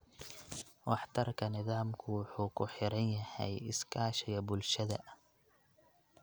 Waxtarka nidaamka wuxuu ku xiran yahay iskaashiga bulshada.